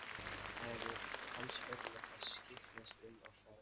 Það eru hans örlög að skyggnast um og fræðast.